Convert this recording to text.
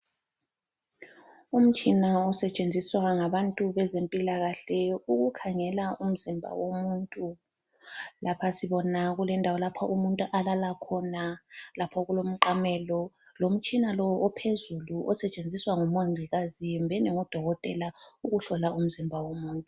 Umtshina osetshenziswa ngabantu bezempilakahle ukukhangela umzimba womuntu, lapha sibona kulendawo lapha umuntu alala khona lapha kulomqamelo lomtshina lo ophezulu osetshenziswa ngumongikazi kumbeni ngudokotela ukuhlola umzimba womuntu.